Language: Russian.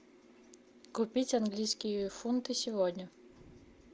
купить английские фунты сегодня